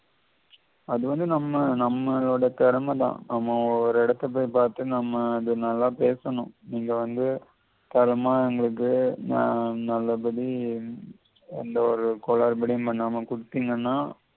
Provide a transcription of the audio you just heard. அது வந்து நம்ம நம்மோட பெரும தான் நம்ம ஒரு இடத்த போயி பார்த்து நம்ம அத நல்லா பேசணும் நீங்க வந்து தேறமா எங்களுக்கு நல்ல படி எந்தவொரு குழப்படி பண்ணாம குடுத்திங்கன்னா